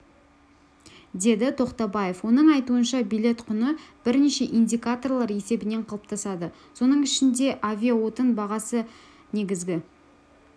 деді тоқтабаев оның айтуынша билет құны бірнеше индикаторлар есебінен қалыптасады соның ішінде авиаотын бағасы негізгі